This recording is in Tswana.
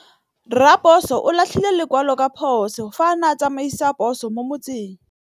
Raposo o latlhie lekwalô ka phosô fa a ne a tsamaisa poso mo motseng.